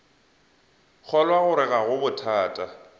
kgolwa gore ga go bothata